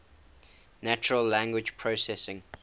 natural language processing